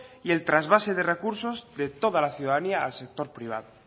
y el trasvase de recursos de toda la ciudadanía al sector privado